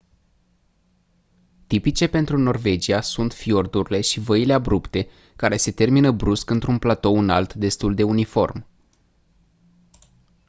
tipice pentru norvagia sunt fiordurile și văile abrupte care se termină brusc într-un platou înalt destul de uniform